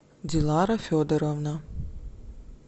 дилара федоровна